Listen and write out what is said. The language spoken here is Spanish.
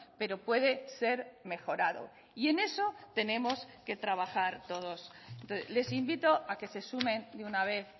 pero puede ser mejorado y en eso tenemos que trabajar todos les invito a que se sumen de una vez